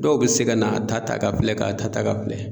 Dɔw bɛ se ka n'a ta ta ka filɛ k'a ta ta ka filɛ.